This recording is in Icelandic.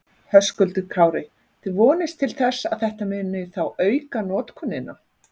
Höskuldur Kári: Þið vonist til þess að þetta muni þá auka notkunina?